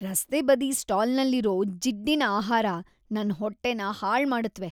ರಸ್ತೆಬದಿ ಸ್ಟಾಲ್‌ನಲ್ಲಿರೋ ಜಿಡ್ಡಿನ್ ಆಹಾರ ನನ್ ಹೊಟ್ಟೆನ ಹಾಳ್ ಮಾಡುತ್ವೆ.